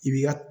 I b'i ka